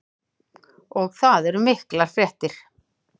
Og það eru miklar fréttir.